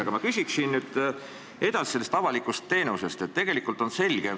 Aga ma küsiksin edasi avaliku teenuse kohta.